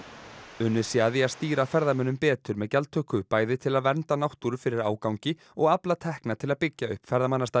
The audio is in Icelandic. unnið sé að því að stýra ferðamönnum betur með gjaldtöku bæði til að vernda náttúru fyrir ágangi og afla tekna til að byggja upp ferðamannastaði